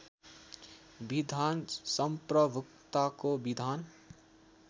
विधान सम्प्रभूताको विधान